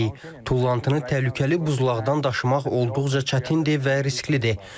Tullantını təhlükəli buzlaqdan daşımaq olduqca çətindir və risklidir.